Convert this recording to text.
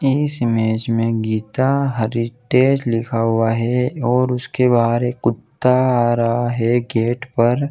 इस इमेज में गीता हरिटेज लिखा हुआ है और उसके बाहर एक कुत्ता आ रहा है गेट पर --